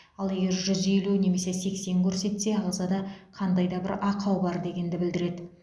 ал егер жүз елу немесе сексен көрсетсе ағзада қандай да бір ақау бар дегенді білдіреді